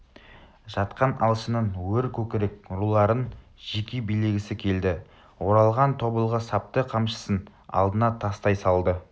жатқан алшынның өркөкірек руларын жеке билегісі келді оралған тобылғы сапты қамшысын алдына тастай салды